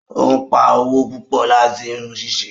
Obpá owó pupọ láti irun ṣíṣe